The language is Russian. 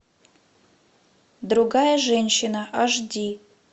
другая женщина аш ди